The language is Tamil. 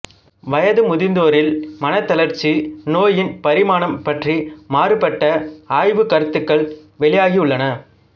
வயது முதிர்ந்தோரில் மனத் தளர்ச்சி நோயின் பரிமாணம் பற்றி மாறுபட்ட ஆய்வுக் கருத்துக்கள் வெளியாகியுள்ளன